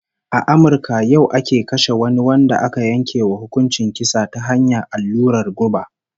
A Amurka yau ake kashe wani wanda aka yanke wa hukuncin kisa ta hanyar allurar guba